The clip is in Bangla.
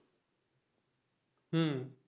হুম্